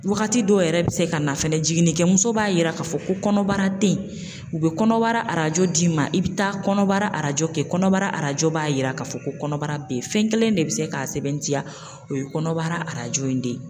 Wagati dɔw yɛrɛ bɛ se ka na fɛnɛ jiginnikɛmuso b'a yira k'a fɔ ko kɔnɔbara te yen u bɛ kɔnɔbara arajo d'i ma i bɛ taa kɔnɔbara arajo kɛ kɔnɔbara arajo b'a yira k'a fɔ ko kɔnɔbara be ye, fɛn kelen de be se k'a sɛbɛntiya o ye kɔnɔbara arajo in de ye.